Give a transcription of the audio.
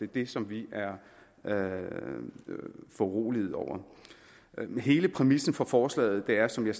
det som vi er foruroligede over men hele præmissen for forslaget er som jeg